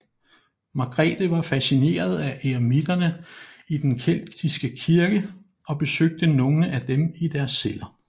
Margrethe var fascineret af eremitterne i den keltiske kirke og besøgte nogle af dem i deres celler